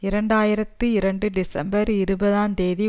இரண்டு ஆயிரத்தி இரண்டு டிசம்பர் இருபதுந்தேதி